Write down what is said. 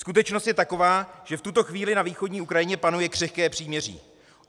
Skutečnost je taková, že v tuto chvíli na východní Ukrajině panuje křehké příměří.